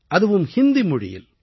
அதுவும் ஹிந்தி மொழியில்